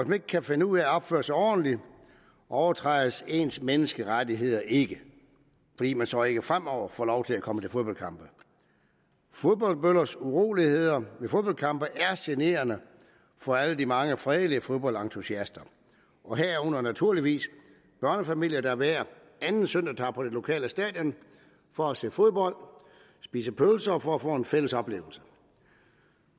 man ikke kan finde ud af at opføre sig ordentligt overtrædes ens menneskerettigheder ikke fordi man så ikke fremover får lov til at komme til fodboldkampe fodboldbøllers uroligheder ved fodboldkampe er generende for alle de mange fredelige fodboldentusiaster herunder naturligvis børnefamilier der hver anden søndag tager på det lokale stadion for at se fodbold spise pølser og for at få en fælles oplevelse